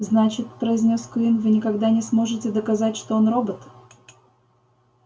значит произнёс куинн вы никогда не сможете доказать что он робот